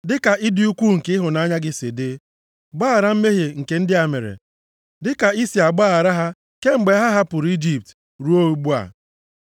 Dịka ịdị ukwuu nke ịhụnanya gị si dị; gbaghara mmehie nke ndị a mere, dịka i si agbaghara ha kemgbe ha hapụrụ Ijipt ruo ugbu a.”